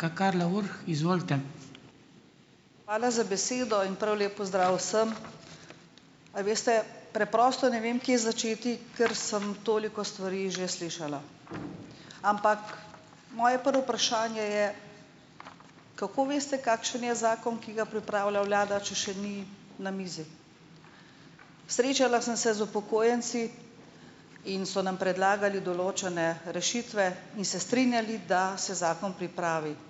Hvala za besedo in prav lep pozdrav vsem. A veste, preprosto ne vem, kje začeti, ker sem toliko stvari že slišala. Ampak moje prvo vprašanje je, kako veste, kakšen je zakon, ki ga pripravlja vlada, če še ni na mizi? Srečala sem se z upokojenci in so nam predlagali določene rešitve in se strinjali, da se zakon pripravi.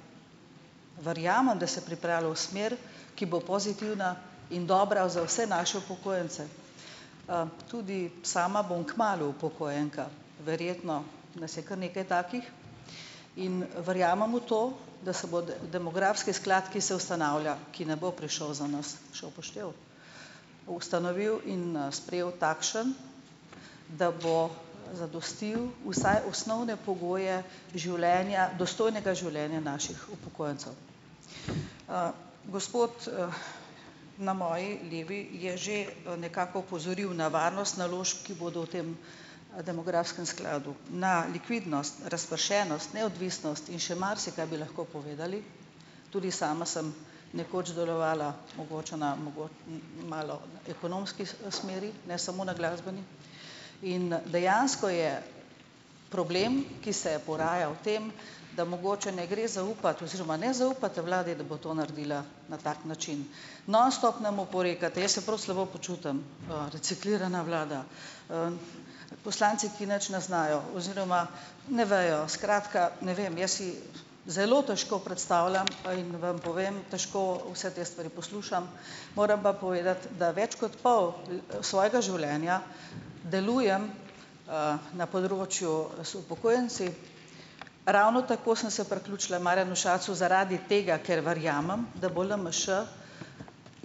Verjamem, da se pripravi v smer, ki bo pozitivna in dobra za vse naše upokojence. Tudi sama bom kmalu upokojenka. Verjetno nas je kar nekaj takih in verjamem v to, da se bo demografski sklad, ki se ustanavlja, ki ne bo prišel za nas še v poštev, ustanovil in sprejel takšen, da bo zadostil vsaj osnovne pogoje življenja, dostojnega življenja naših upokojencev. Gospod, na moji levi je že, nekako opozoril na varnost naložb, ki bodo v tem, demografskem skladu. Na likvidnost, razpršenost, neodvisnost in še marsikaj bi lahko povedali, tudi sama sem nekoč delovala mogoče na malo ekonomski smeri, ne samo na glasbeni, in dejansko je problem, ki se je porajal v tem, da mogoče ne gre zaupati oziroma ne zaupate vladi, da bo to naredila na tak način. Nonstop nam oporekate. Jaz se prav slabo počutim, reciklirana vlada, poslanci ki nič ne znajo oziroma ne vejo, skratka, ne vem, jaz si zelo težko predstavljam, in vam povem, težko vse te stvari poslušam. Moram pa povedati, da več kot pol svojega življenja delujem, na področju z upokojenci. Ravno tako sem se priključila Marjanu Šarcu zaradi tega, ker verjamem, da bo LMŠ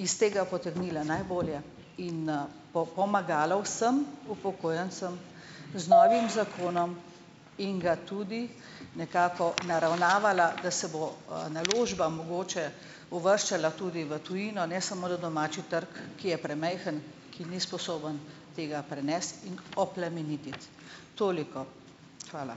iz tega potegnila najbolje in, pomagala vsem upokojencem z novim zakonom in ga tudi nekako naravnavala, da se bo, naložbam mogoče uvrščala tudi v tujino, ne samo na domači trg, ki je premajhen, ki ni sposoben tega prenesti in oplemenititi. Toliko. Hvala.